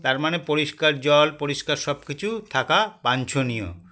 তারমানে পরিস্কার জল পরিস্কার সবকিছু থাকা বাঞ্ছনীয়